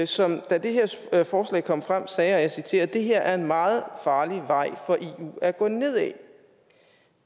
som da det her forslag kom frem sagde og jeg citerer det her er en meget farlig vej for eu at gå ned ad